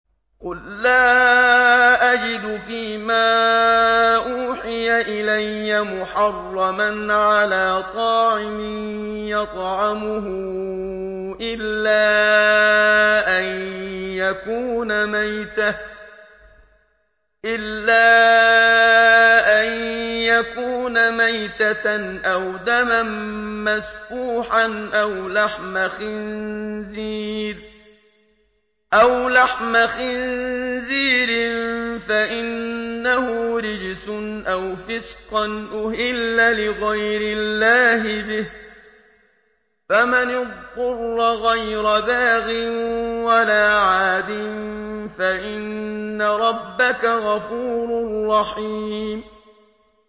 قُل لَّا أَجِدُ فِي مَا أُوحِيَ إِلَيَّ مُحَرَّمًا عَلَىٰ طَاعِمٍ يَطْعَمُهُ إِلَّا أَن يَكُونَ مَيْتَةً أَوْ دَمًا مَّسْفُوحًا أَوْ لَحْمَ خِنزِيرٍ فَإِنَّهُ رِجْسٌ أَوْ فِسْقًا أُهِلَّ لِغَيْرِ اللَّهِ بِهِ ۚ فَمَنِ اضْطُرَّ غَيْرَ بَاغٍ وَلَا عَادٍ فَإِنَّ رَبَّكَ غَفُورٌ رَّحِيمٌ